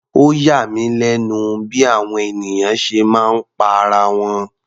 Ó yà mí lẹ́nu bí àwọn ènìyàn ṣe máa ń pa ara wọn.